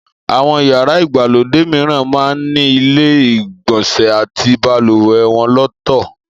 Àwọn yàrá ìgbàlódé mìíran máa ń ní ilé ìgbọ̀nsẹ̀ àti balùwẹ̀ wọn lọ́tọ̀